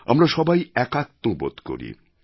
আমরা সবাই একাত্ম বোধ করি